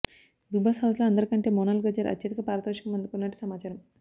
big Boss హౌజ్లో అందరి కంటే మోనాల్ గజ్జర్ అత్యధిక పారితోషికం అందుకుంటున్నట్టు సమాచారం